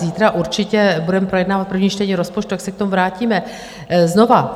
Zítra určitě budeme projednávat první čtení rozpočtu, tak se k tomu vrátíme znovu.